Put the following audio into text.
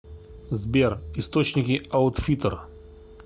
сбер источники аутфиттер